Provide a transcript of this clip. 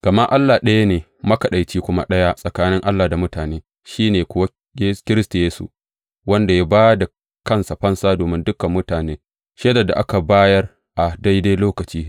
Gama Allah ɗaya ne, matsakanci kuma ɗaya tsakanin Allah da mutane, shi ne kuwa Kiristi Yesu, wanda ya ba da kansa fansa domin dukan mutane, shaidar da aka bayar a daidai lokaci.